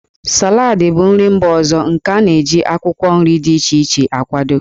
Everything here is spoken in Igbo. Salad bụ nri mba ọzọ nke a na-eji akwụkwọ nri dị iche iche akwado.